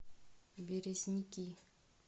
березники